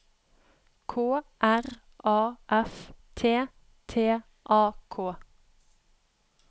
K R A F T T A K